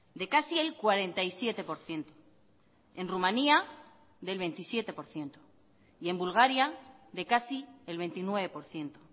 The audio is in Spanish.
de casi el cuarenta y siete por ciento en rumania del veintisiete por ciento y en bulgaria de casi el veintinueve por ciento